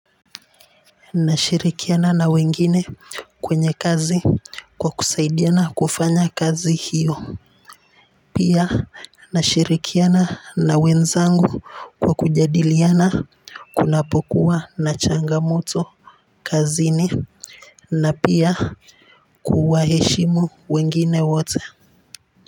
Nashirikiana na wengine kwenye kazi kwa kusaidiana kufanya kazi hiyo. Pia nashirikiana na wenzangu kwa kujadiliana kunapokuwa na changamoto kazini na pia kuwaheshimu wengine wote.